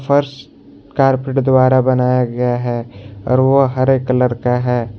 फर्श कारपेट द्वारा बनाया गया है और वह हरे कलर का है।